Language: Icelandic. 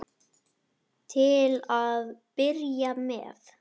Til að byrja með.